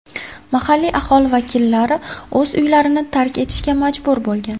Mahalliy aholi vakillari o‘z uylarini tark etishga majbur bo‘lgan.